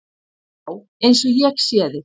Já, eins og ég sé þig.